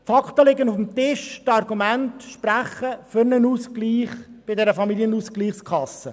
Die Fakten liegen auf dem Tisch, die Argumente sprechen für einen Ausgleich bei den Familienausgleichskassen.